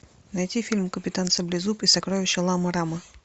найти фильм капитан саблезуб и сокровища лама рама